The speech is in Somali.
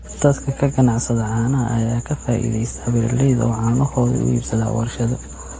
Dadka ka ganacsada caanaha ayaa ka faa�iidaysta beeralayda oo caanahooda u iibsada warshado.